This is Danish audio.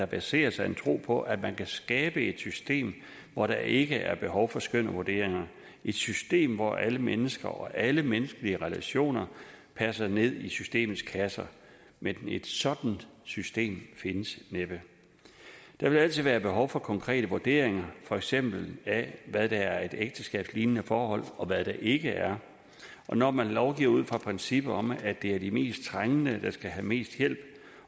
baserer sig en tro på at man kan skabe et system hvor der ikke er behov for skøn og vurderinger et system hvor alle mennesker og alle menneskelige relationer passer ned i systemets kasser men et sådant system findes næppe der vil altid være behov for konkrete vurderinger for eksempel af hvad der er et ægteskabslignende forhold og hvad der ikke er når man lovgiver ud fra principper om at det er de mest trængende der skal have mest hjælp